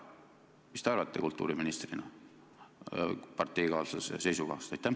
Mis te arvate kultuuriministrina parteikaaslase seisukohast?